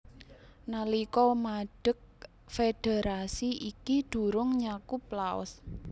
Nalika madeg federasi iki durung nyakup Laos